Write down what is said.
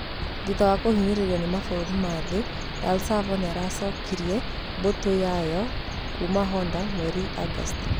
Thutha wa kũhinyĩrĩrio nĩ mabũrũri ma thĩ El Sav nĩyacokirie mbũtũ yayo kuuma Honder mweri Agosti.